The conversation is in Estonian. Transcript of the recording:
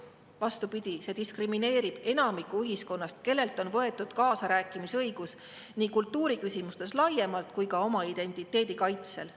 Vastupidi, see diskrimineerib enamikku ühiskonnast, kellelt on võetud kaasarääkimise õigus nii kultuuriküsimustes laiemalt kui ka oma identiteedi kaitsel.